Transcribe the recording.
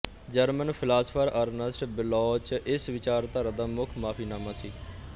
German philosopher Ernst Bloch ਇਸ ਵਿਚਾਰਧਾਰਾ ਦਾ ਮੁਖ ਮੁਆਫ਼ੀਨਾਮਾ ਸੀ